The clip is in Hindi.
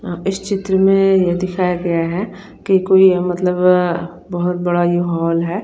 अ यहां इस चित्र में ये दिखाया गया है कि कोई अ मतलब अ बहोत बड़ा ये हॉल है।